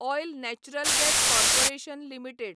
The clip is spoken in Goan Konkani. oil natural gas corporation limited